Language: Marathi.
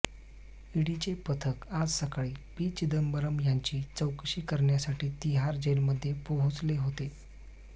ईडीचे पथक आज सकाळी पी चिदंबरम यांची चौकशी करण्यासाठी तिहार जेलमध्ये पोहोचले होते